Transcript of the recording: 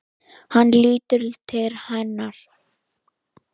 Hann lítur til hennar.